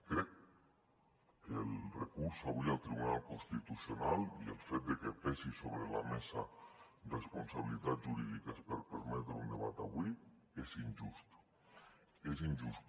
crec que el recurs avui al tribunal constitucional i el fet de que pesin sobre la mesa responsabilitats jurídiques per permetre un debat avui és injust és injust